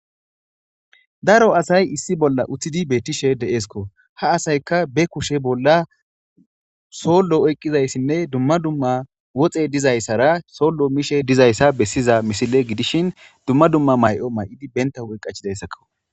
Daaro assay issi bolla uttidi betishe de'sikko ha asaykka be kushshe bolla sollo oyqidaysane dumma dumma woxey dizayssara sollo mishshe dizaysa besiza missile gidishin dumma dumma mayo mayidi benta huphphe qachchidayssako.